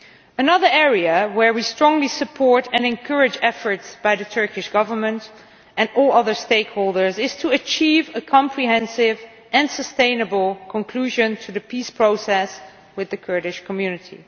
Another area in which we strongly support and encourage efforts by the Turkish Government and all other stakeholders is the drive to achieve a comprehensive and sustainable conclusion to the peace process with the Kurdish community.